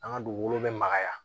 An ka dugukolo bɛ magaya